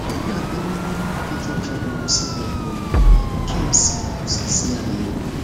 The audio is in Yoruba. wọn gbà mí nímọràn pé kí n fa omi sínú ọpọlọ kí n sì sì ṣe àyẹwò